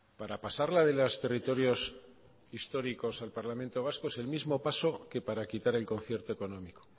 para pasarla de los territorios históricos al parlamento vasco es el mismo paso que para quitar el concierto económico